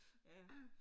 Ja